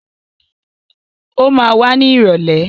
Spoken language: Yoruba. Ó ma wá ní ìrọ̀lẹ́.